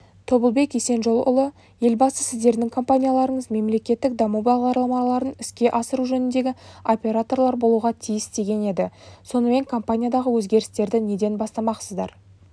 тобылбек есенжолұлы елбасы сіздердің компанияларыңыз мемлекеттік даму бағдарламаларын іске асыру жөніндегі операторлар болуға тиіс деген еді сонымен компаниядағы өзгерістерді неден бастамақсыздар